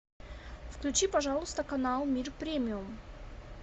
включи пожалуйста канал мир премиум